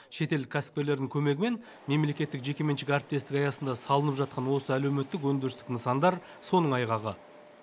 шетелдік кәсіпкерлердің көмегімен мемлекеттік жекеменшік әріптестік аясында салынып жатқан осы әлеуметтік өндірістік нысандар соның айғағы